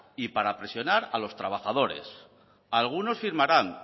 y para presionar a los trabajadores algunos firmarán